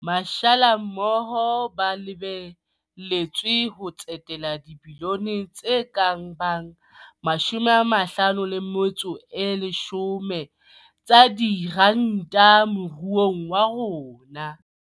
Mashala mmoho ba lebe letswe ho tsetela dibilione tse ka bang 50 tsa diranta moruong wa rona.